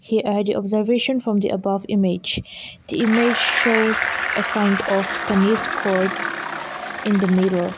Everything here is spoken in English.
here are the observation from the above image the image shows a kind of tennis court in the middle.